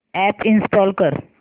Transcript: app install कर